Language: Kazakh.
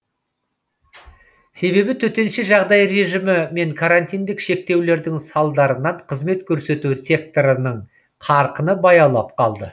себебі төтенше жағдай режимі мен карантиндік шектеулердің салдарынан қызмет көрсету секторының қарқыны баяулап қалды